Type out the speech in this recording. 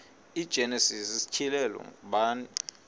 igenesis isityhilelo ngubani